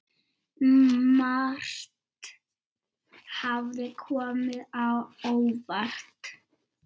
Margt hafði komið á óvart.